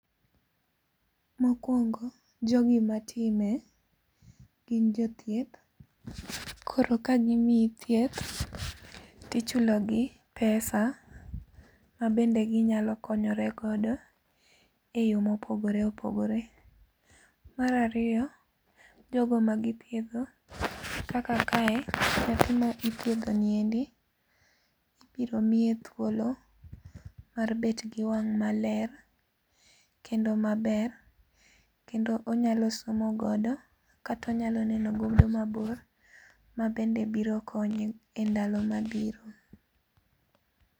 Mokuongo, jogi matime gin jothieth koro ka gimiyi thieth to ichulogi pesa mabende maginyalo konyorego eyore mopogore opogore. Mar ariyo, jogo magothiedho kaka kae, nyathi ma ithiedho niendi ibiro miye thuolo mar bet gi wang' maler kendo maber kendo onyalo somo godo kata onyalo neno godo mabor mabende biro konye e ndalo mabiro